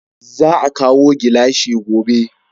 Za a kawo gilashi gobe